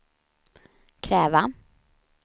kräva